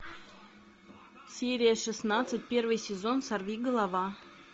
серия шестнадцать первый сезон сорви голова